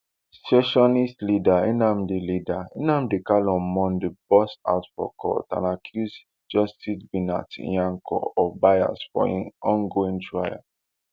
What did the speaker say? secessionist leader nnamdi leader nnamdi kanu on monday burst out for court and accuse justice binta nyako of bias for im ongoing trial